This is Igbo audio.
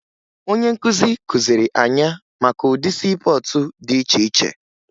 Onye nkụzi kụziri anya maka ụdị siipọọtụ dị iche iche